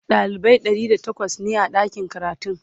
dalibai ɗari da takwas ne a ɗakin karatun